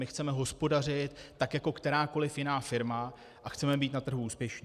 My chceme hospodařit tak jako kterákoli jiná firma a chceme být na trhu úspěšní.